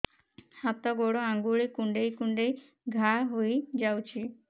ହାତ ଗୋଡ଼ ଆଂଗୁଳି କୁଂଡେଇ କୁଂଡେଇ ଘାଆ ହୋଇଯାଉଛି